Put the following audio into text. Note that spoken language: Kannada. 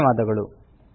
ಧನ್ಯವಾದಗಳು